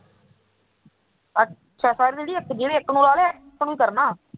ਅੱਛਾ ਜਿਹੜਾ ਇੱਕ ਨੂੰ ਲਾ ਲਿਆ ਇੱਕ ਨੂੰ ਹੀ ਕਰਨਾ